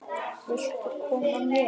Viltu koma með?